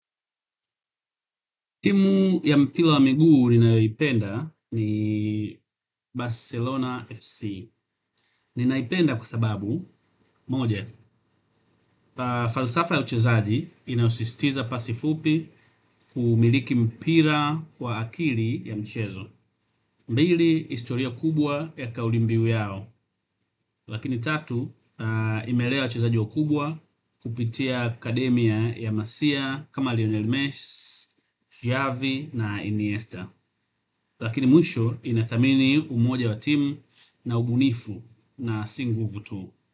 Timu ya mpira wa miguu ninayoipenda ni Barcelona FC. Ninaipenda kwa sababu moja, falsafa ya uchezaji inayosisitiza pasi fupi kuumiliki mpira kwa akili ya mchezo pili, historia kubwa ya kauli mbio yao. Lakini tatu, imelea wachezaji wakubwa kupitia akademia ya masia kama Lionel Messi, Javi na Iniesta. Lakini mwisho inathamini umoja wa timu na ubunifu na si nguvu tu.